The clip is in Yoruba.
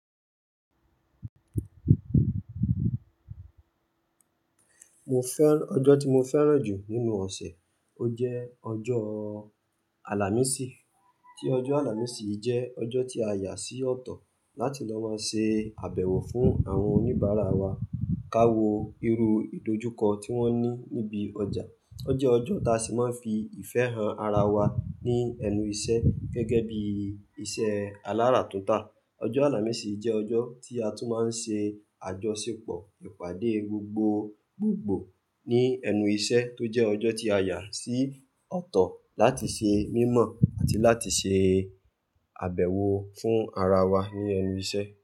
Mo fẹ́-- ọjọ́ tí mo fẹ́ràn jù nínú ọ̀sẹ̀, ó jẹ́ ọjọ́ Àlàmísì. Tí ọjọ́ Àlàmísì jẹ́ ọjọ́ tí a yà sí ọ̀tọ̀ láti lọ máa ṣe àbẹ̀wò fún àwọn oníbàárà wa, ká wo irú ìdojúkọ tí wọ́n ní níbi ọjà. Ó jẹ́ ọjọ́ tí a sì máa ń fi ìfẹ́ hàn ara wa ní ẹnu iṣẹ́ gẹ́gẹ́ bí iṣẹ́ alára tunta. Ọjọ́ Àlàmísì jẹ́ ọjọ́ tí a tún máa ń ṣe àjọṣepọ̀ ìpàdé gbogbo gbòògbò ní ẹnu iṣẹ́ tó jẹ́ ọjọ́ tí a yà sí ọ̀tọ̀ láti ṣe mímọ̀ àti láti ṣe àbẹ̀wò fún ara wa ní ẹnu iṣẹ́.